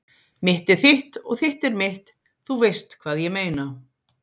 Mitt er þitt og þitt er mitt- þú veist hvað ég meina.